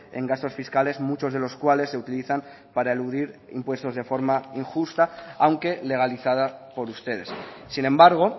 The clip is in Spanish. en gastos fiscales muchos de los cuales se utilizan para eludir impuestos de forma injusta aunque legalizada por ustedes sin embargo